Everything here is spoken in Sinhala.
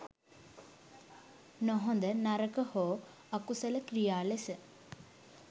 නොහොඳ, නරක හෝ අකුසල ක්‍රියා ලෙස